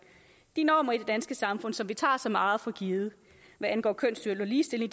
de normer i det danske samfund som vi tager så meget for givet hvad angår kønssyn og ligestilling